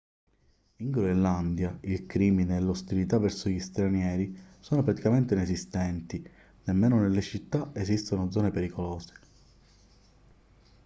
in groenlandia il crimine e l'ostilità verso gli stranieri sono praticamente inesistenti nemmeno nelle città esistono zone pericolose